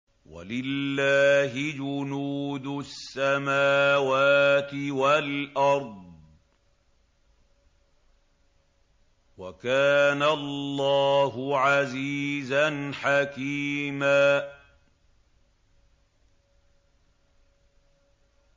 وَلِلَّهِ جُنُودُ السَّمَاوَاتِ وَالْأَرْضِ ۚ وَكَانَ اللَّهُ عَزِيزًا حَكِيمًا